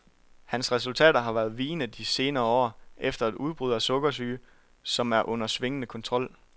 Hans resultater har været vigende de senere år efter et udbrud af sukkersyge, som er under svingende kontrol.